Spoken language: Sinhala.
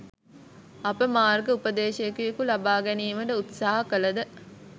අප මාර්ග උපදේෂකයකු ලබාගැනීමට උත්සහ කලද